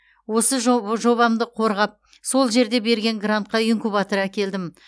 осы жоб жобамды қорғап сол жерде берген грантқа инкубатор әкелдім